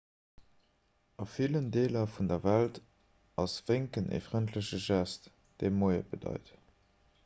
a villen deeler vun der welt ass wénken e frëndleche gest dee moie bedeit